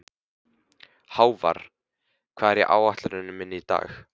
Hávarr, hvað er á áætluninni minni í dag?